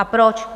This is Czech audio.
A proč?